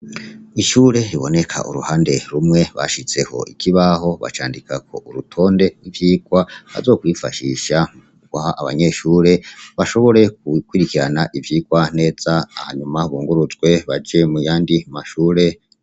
Ishure riboneka uruhande rumwe bashizeho ikibaho bacandikako urutonde rw'ivyigwa bazokwifashisha muguha abanyeshure bashobore gukurikirana ivyigwa neza hanyuma bunguruzwe baje muyandi mashure.